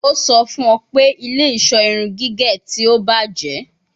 O sọ fun ọ pe ile-iṣọ irun gige ti o bajẹ